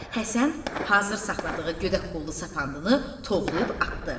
Həsən hazır saxladığı gödək qollu sapandını tovlayıb atdı.